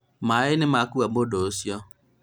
maĩ nĩmakua mũndũ ucio